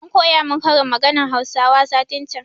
An koya mun ƙarin maganan hausawa satin can